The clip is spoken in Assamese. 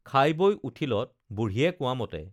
খাই বৈ উঠিলত বুঢ়ীয়ে কোৱামতে